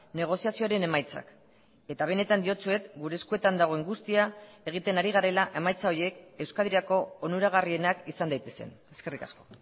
negoziazioaren emaitzak eta benetan diotsuet gure eskuetan dagoen guztia egiten ari garela emaitza horiek euskadirako onuragarrienak izan daitezen eskerrik asko